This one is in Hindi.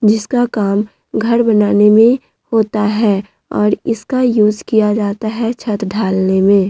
जिसका काम घर बनाने में होता है और इसका यूज़ किया जाता है छत ढालने में।